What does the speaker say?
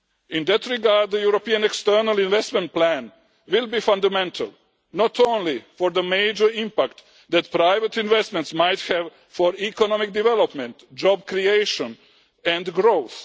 In that regard the European External Investment Plan will be fundamental not only for the major impact that private investments might have for economic development, job creation and growth